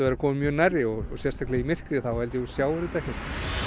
vera kominn mjög nærri og sérstaklega í myrkri þá held ég að þú sjáir þetta ekkert